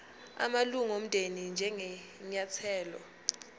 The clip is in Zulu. amalunga omndeni njengenyathelo